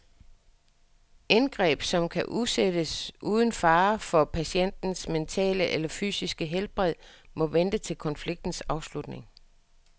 Indgreb, som kan udsættes uden fare for patientens mentale eller fysiske helbred, må vente til konfliktens afslutning.